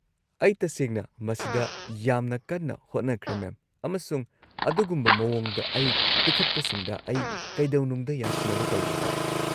-ꯑꯩ ꯇꯁꯦꯡꯅ ꯃꯁꯤꯗ ꯌꯥꯝꯅ ꯀꯟꯅ ꯍꯣꯠꯅꯈ꯭ꯔꯦ, ꯃꯦꯝ, ꯑꯃꯁꯨꯡ ꯑꯗꯨꯒꯨꯝꯕ ꯃꯑꯣꯡꯗ ꯑꯩ ꯄꯤꯈꯠꯄꯁꯤꯡꯗ ꯑꯩ ꯀꯩꯗꯧꯅꯨꯡꯗ ꯌꯥꯁꯤꯟꯅꯕ ꯇꯧꯔꯣꯏ꯫